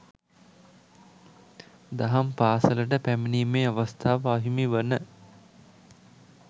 දහම් පාසලට පැමිණීමේ අවස්ථාව අහිමි වන